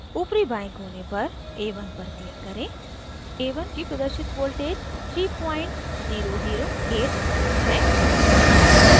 ऊपरी बाएं कोने पर a1 पर click करें a1 की प्रदर्शित voltage 3008v है